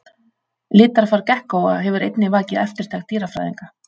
Litarfar gekkóa hefur einnig vakið eftirtekt dýrafræðinga.